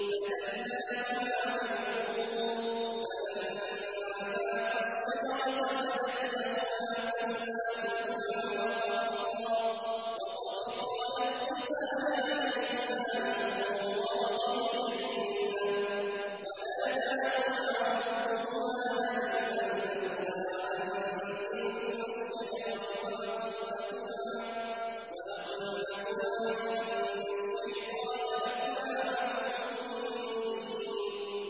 فَدَلَّاهُمَا بِغُرُورٍ ۚ فَلَمَّا ذَاقَا الشَّجَرَةَ بَدَتْ لَهُمَا سَوْآتُهُمَا وَطَفِقَا يَخْصِفَانِ عَلَيْهِمَا مِن وَرَقِ الْجَنَّةِ ۖ وَنَادَاهُمَا رَبُّهُمَا أَلَمْ أَنْهَكُمَا عَن تِلْكُمَا الشَّجَرَةِ وَأَقُل لَّكُمَا إِنَّ الشَّيْطَانَ لَكُمَا عَدُوٌّ مُّبِينٌ